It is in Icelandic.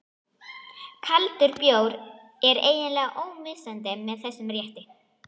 Kaldur bjór er eiginlega ómissandi með þessum rétti.